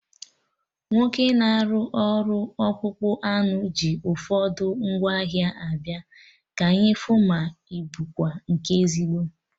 Nwoke na-arụ ọrụ ọkpụkpụ anụ ji ụfọdụ ngwa ahịa abịa, ka anyị fu ma ịbụkwa nke ezigbo